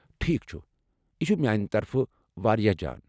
ٹھیک چھ، یہ چھ میانہ طرفہٕ واریاہ جان۔